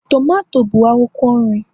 tomato bụ akwụkwọ nri